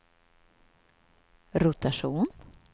rotation